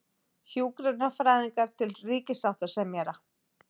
Hjúkrunarfræðingar til ríkissáttasemjara